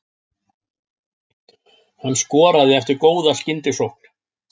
Hann skoraði eftir góða skyndisókn.